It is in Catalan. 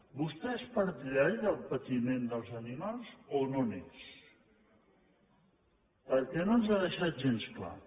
vostè és partidari del patiment dels animals o no n’és perquè no ens ho ha deixat gens clar